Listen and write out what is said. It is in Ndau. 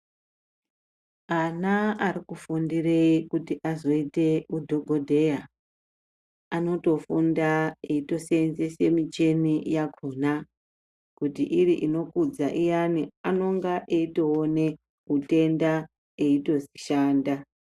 Ana ari kufundire kuti azoite udhogodheya, anotofundaa eitoseenzese michini yakhona. Kuti iri inokudza iyani,. anonga eitoone utenda eitoshanda